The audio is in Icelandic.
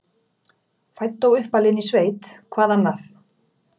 Fædd og uppalin í sveit, hvað annað?